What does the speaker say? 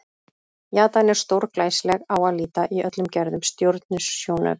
Jatan er stórglæsileg á að líta í öllum gerðum stjörnusjónauka.